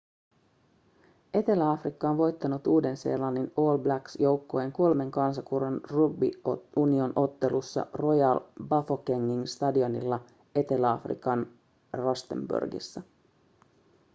etelä-afrikka on voittanut uuden-seelannin all blacks joukkueen kolmen kansakunnan rugby union- ottelussa royal bafokengin stadionilla etelä-afrikan rustenburgissa